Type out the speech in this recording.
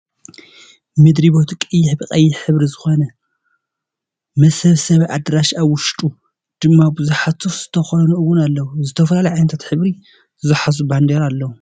ምድሪ ቤቱ ቀይሕ ብቀይሕ ሕብሪ ዝኮነ መሰብሰቢ ኣደራሽ ኣብ ውሽጡ ድማ ብዙሓት ሱፍ ዝተከደኑ እውን ኣለው። ዝተፈላለዩ ዓይነታት ሕብሪ ዝሓዙ ባንዴራ ኣለው።